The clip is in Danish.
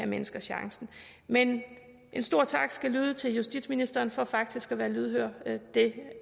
mennesker chancen men en stor tak skal lyde til justitsministeren for faktisk at være lydhør her det